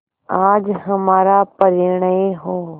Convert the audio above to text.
आज हमारा परिणय हो